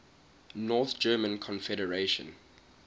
north german confederation